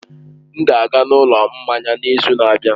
M ga-aga n'ụlọ mmanya n'izu na-abịa.